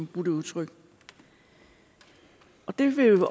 bruge det udtryk det vil